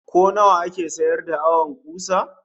Ko nawa ake sayar da awon kusa?